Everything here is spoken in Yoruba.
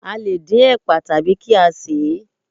A le dín ẹ̀pà tàbí kí á sèé.